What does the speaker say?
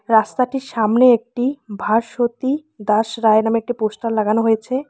রাস্তাটির সামনে একটি ভাস্বতী দাস রায় নামের একটি পোস্টার লাগানো হয়েছে।